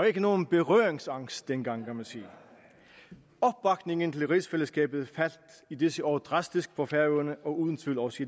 ikke nogen berøringsangst dengang kan man sige opbakningen til rigsfællesskabet faldt i disse år drastisk på færøerne og uden tvivl også